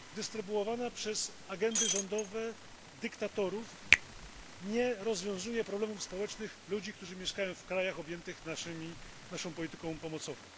rozdzielana przez agendy rządowe dyktatorów nie rozwiązuje problemów społecznych ludzi, którzy mieszkają w krajach objętych naszą polityką pomocową.